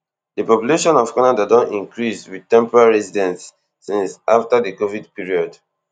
di population of canada don increase wit temporary residents since afta di covid period